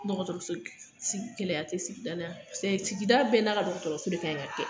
Dɔgɔtɔrɔsɔ si gɛlɛya te sigida la yan pase sigida bɛɛ n'a ka dɔgɔtɔrɔso de kanɲi ka kɛ